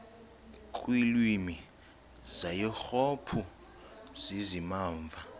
kwiilwimi zaseyurophu zizimamva